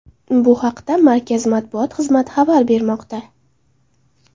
Bu haqda markaz matbuot xizmati xabar bermoqda.